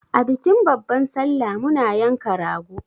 A bikin babban sallah muna yanka rago.